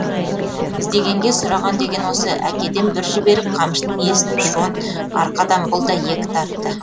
іздегенге сұраған деген осы әкеден бір жіберіп қамшының иесін жон арқадан бұл да екі тартты